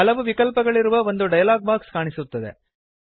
ಹಲವು ವಿಕಲ್ಪಗಳಿರುವ ಒಂದು ಡಯಲಾಗ್ ಬಾಕ್ಸ್ ಕಾಣಿಸುತ್ತದೆ